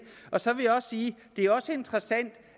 så vil jeg også sige